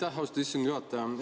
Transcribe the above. Aitäh, austatud istungi juhataja!